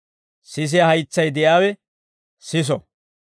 Sisiyaa haytsay de'iyaawe siso!